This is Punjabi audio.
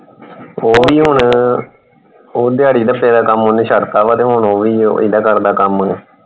ਉਹ ਵੀ ਹੁਣ ਉਹ ਦਿਹਾੜੀ ਵੱਟੇ ਦਾ ਕੰਮ ਓਹਨੇ ਛੱਡ ਤਾ ਵਾ ਤੇ ਉਹ ਵੀ ਹੁਣ ਏਦਾ ਕਰਦਾ ਕੰਮ।